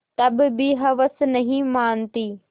तब भी हवस नहीं मानती